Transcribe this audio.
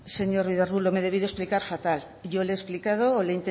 señor ruiz de arbulo me he debido explicar fatal yo le he explicado o le